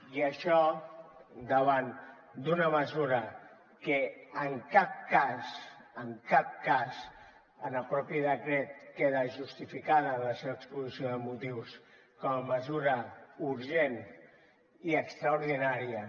i això davant d’una mesura que en cap cas en el mateix decret queda justificada en la seva exposició de motius com a mesura urgent i extraordinària